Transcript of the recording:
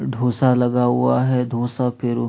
डोसा लगा हुआ है धोषा पे --